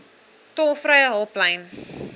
tolvrye hulplyn